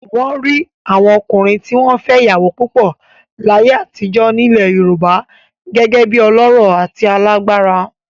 Wọ́n rí àwọn ọkùnrin tí wọ́n fẹ́ ìyàwó púpọ̀ láyé àtijọ́ nílẹ̀ Yorùbá gẹ́gẹ́ bí ọlọ́rọ̀ àti alágbára.